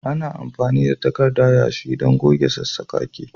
Ana amfani da takarda yashi don goge saman sassaƙaƙe